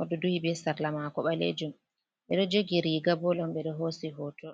oɗo duhi be sarla mako ɓalejum, ɓeɗo jogi riga ball on ɓe ɗo hosi hoto.